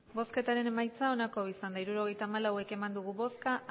hirurogeita hamalau eman dugu bozka